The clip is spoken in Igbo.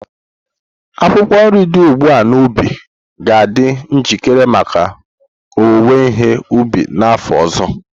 Akwụkwọ nri dị n'ugbo ga-adị njikere maka owuwe ihe ubi n'afọ ọzọ.